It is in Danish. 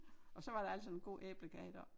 Og så var der altså en god æblekage deroppe